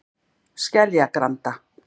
Skeljagranda